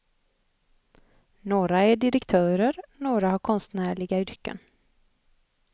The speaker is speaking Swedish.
Några är direktörer, några har konstnärliga yrken.